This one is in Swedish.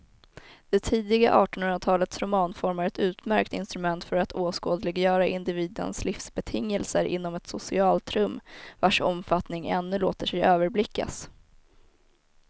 Det tidiga artonhundratalets romanform är ett utmärkt instrument för att åskådliggöra individens livsbetingelser inom ett socialt rum vars omfattning ännu låter sig överblickas.